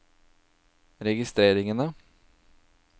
registreringene